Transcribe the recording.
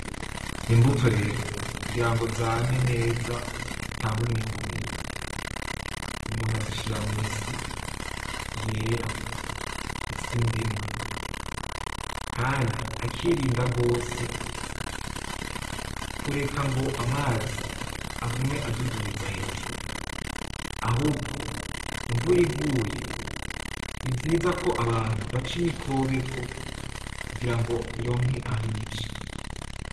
Imbuto rero kugira ngo zame neza zitange umwimbu mwiza, umuntu azishira mw'isi yera; isi ndimwa, kandi akirinda gose kureka ngo amazi agume adudubiza hejuru, ahubwo imvura iguye ni vyiza ko abantu baca imikobeko, kugira ngo ironke ah'ica.